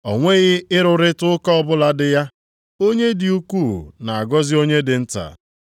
O nweghị ịrụrịta ụka ọbụla dị ya, na onye dị ukwuu na-agọzi onye dị nta.